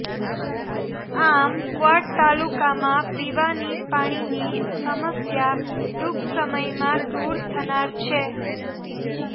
આમ કવાંટ તાલુકામાં પીવાની પાણીની સમસ્યા ટુંક સમયમાં દુર થનાર છે